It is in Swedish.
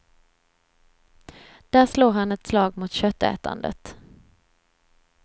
Där slår han ett slag mot köttätandet.